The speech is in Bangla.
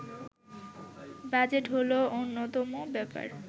বাজেট হলো অন্যতম ব্যাপার